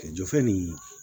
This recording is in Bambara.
Jɔfɛn nin